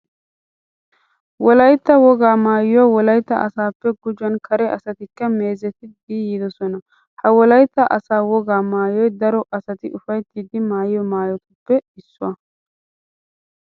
Wolaytta wogaa maayuwa wolaytta asaappe gujuwan kare asatikka meezetiiddi yiidosona. Ha wolaytta asaa wogaa maayoy daro asati ufayttidi maayiyo maayotuppe issuwa.